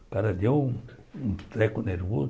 O cara deu um treco nervoso.